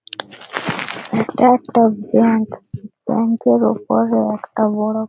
এটা একটা bank. Bank -এর উপরে একটা বড়--